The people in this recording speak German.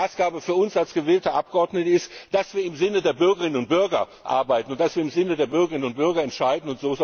Die Maßgabe für uns als gewählte Abgeordnete ist, dass wir im Sinne der Bürgerinnen und Bürger arbeiten und im Sinne der Bürgerinnen und Bürger entscheiden.